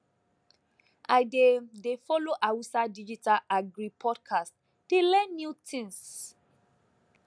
i dey dey follow hausa digital agri podcast dey learn new tins